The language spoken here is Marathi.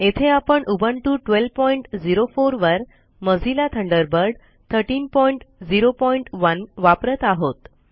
येथे आपण उबुंटू 1204 वर मोझिल्ला थंडरबर्ड 1301 वापरत आहोत